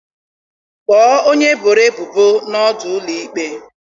Kpọọ onye eboro ebubo na ọdụ ụlọ ikpe.